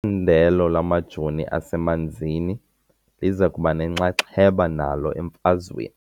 ndelo lamajoo asemanzini liza kuba nenxaxheba nalo emfazweni .